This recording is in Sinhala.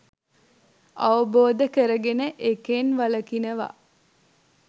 අවබෝධ කරගෙන ඒකෙන් වළකිනවා.